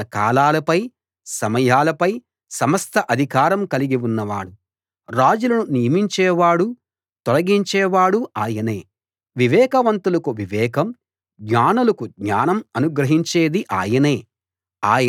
ఆయన కాలాలపై సమయాలపై సమస్త అధికారం కలిగి ఉన్నవాడు రాజులను నియమించేవాడూ తొలగించేవాడూ ఆయనే వివేకవంతులకు వివేకం జ్ఞానులకు జ్ఞానం అనుగ్రహించేది ఆయనే